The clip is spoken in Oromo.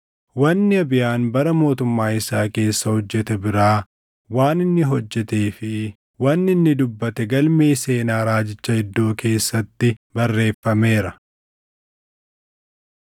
Wanni Abiyaan bara mootummaa isaa keessa hojjete biraa, waan inni hojjetee fi wanni inni dubbate galmee seenaa raajicha Iddoo keessatti barreeffameera.